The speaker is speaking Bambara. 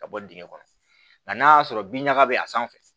Ka bɔ dingɛ kɔnɔ nka n'a y'a sɔrɔ bin ɲaga bɛ a sanfɛ